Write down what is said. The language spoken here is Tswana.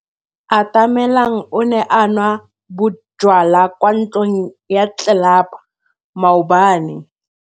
Atamelang o ne a nwa bojwala kwa ntlong ya tlelapa maobane.